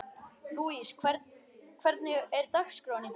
Lúis, hvernig er dagskráin í dag?